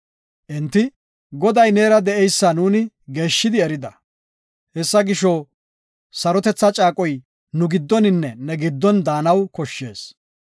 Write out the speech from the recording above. Enti, “Goday neera de7eysa nuuni geeshshi erida. Hessa gisho, sarotetha caaqoy nu giddoninne ne giddon daanaw koshshees.